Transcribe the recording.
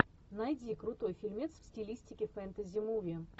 найди крутой фильмец в стилистике фэнтези муви